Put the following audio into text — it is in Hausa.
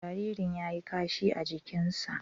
Jaririn ya yi kashi a jikinsa.